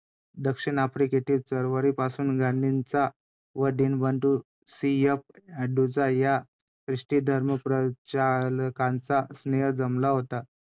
आणि मग रमाबाई रानडे यांच्या ते जीवनपट जेव्हा पाहताना एक एक असा अशी गोष्ट होती. गोझं जसं की आपण म्हणतो नाण्यांची दोन पैलू असतात . एका चांगली आणि वाईट .